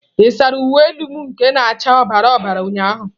Ị saara uwe elu m nke na acha ọbara ọbara ụnyahụ?